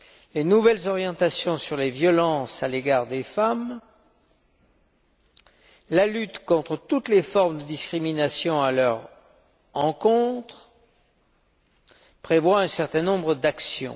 Les nouvelles orientations sur les violences à l'égard des femmes et la lutte contre toutes les formes de discrimination à leur encontre prévoient un certain nombre d'actions.